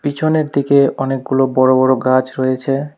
পিছনেরদিকে অনেকগুলো বড় বড় গাছ রয়েছে।